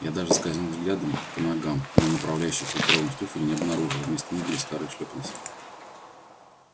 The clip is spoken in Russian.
я даже скользнул взглядом по ногам но направляющих лакированных туфель не обнаружил вместо них были старые шлёпанцы